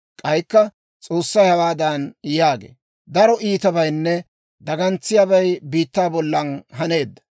K'aykka S'oossay hawaadan yaagee; «Daro iitabaynne dagantsiyaabay biittaa bollan haneedda.